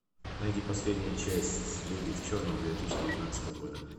найди последнюю часть люди в черном две тысячи девятнадцатого года